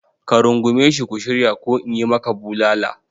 Ka rungume shi ku shirya ko in yi maka bulala!